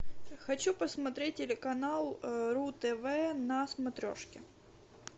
хочу посмотреть телеканал ру тв на смотрешке